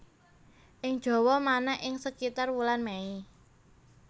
Ing Jawa manak ing sekitar wulan Mei